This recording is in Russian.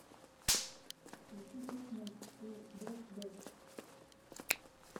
включи песня ту бэд бэд